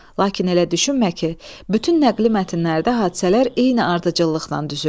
Lakin elə düşünmə ki, bütün nəqli mətnlərdə hadisələr eyni ardıcıllıqla düzülür.